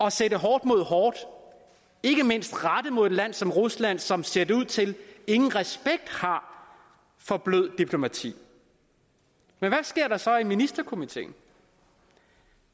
at sætte hårdt mod hårdt ikke mindst rettet mod et land som rusland som ser det ud til ingen respekt har for blød diplomati men hvad sker der så i ministerkomiteen